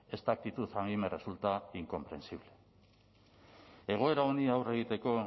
esta actitud a mí me resulta incomprensible egoera honi aurre egiteko